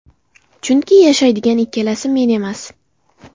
Chunki yashaydigan ikkalasi, men emas.